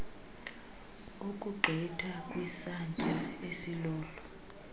ukugqitha kwisantya esilolu